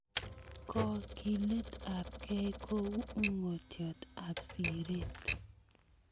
Kagiletab gei ko ung'otiet ab siret